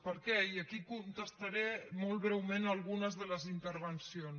per què i aquí contestaré molt breument algunes de les intervencions